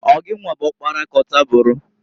Ọ gịnwa bụ ọkpara k'ọtaburu?